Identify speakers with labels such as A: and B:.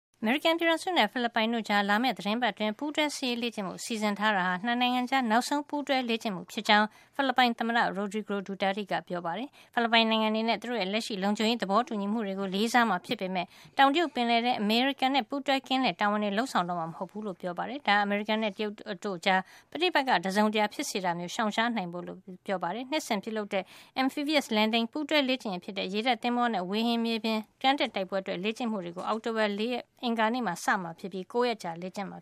A: အမေရိကန် ပြည်ထောင်စုနဲ့ ဖိလစ်ပိုင်နိုင်ငံတို့အကြား လာမယ့် သီတင်းပါတ်အတွင်း ပူးတွဲ စစ်ရေး လေ့ကျင့်ဖို့ စီစဉ်ထားတာဟာ ၂ နိုင်ငံကြား နောက်ဆုံး ပူးတွဲလေ့ကျင့်မှု ဖြစ်ကြောင်း ဖိလစ်ပိုင်သမ္မတ Rodrigo Duterte ကပြောကြားလိုက်ပါတယ်။ ဖိလစ်ပိုင်နိုင်ငံအနေနဲ့ သူတို့ရဲ့ လက်ရှိ လုံခြုံရေး သဘောတူညီမှုတွေကို လေးစားမှာ ဖြစ်ပေမယ့် တောင်တရုတ်ပင်လယ်ထဲ အမေရိကန်နဲ့ ပူးတွဲ ကင်းလှည့်တာတွေကို လုပ်ဆောင်တော့မှာ မဟုတ်ဖူးလို့ ပြောပါတယ်။ ဒါဟာ အမေရိကန်နဲ့ တရုတ် အစိုးရတို့ကြား ပဋိပက္ခ တစုံတရာ ဖြစ်စေတာမျိုးကို ရှောင်ရှားနိုင်ဖို့ လို့လည်း ပြောပါတယ်။ နှစ်စဉ်ပြုလုပ်တဲ့ Amphibious landing ပူးတွဲ လေ့ကျင့်ရေးဖြစ်တဲ့ ရေတပ်သင်္ဘောတွေနဲ့ ဝေဟင် မြေပြင် ကမ်းတက်တိုက်ပွဲအတွက် လေ့ကျင့်မှုတွေကို အောက်တိုဘာလ ၄ ရက် အင်္ဂါနေ့မှာ စတင်မှာ ဖြစ်ပါတယ်။ ၉ ရက်ကြာလေ့ကျင့်မှ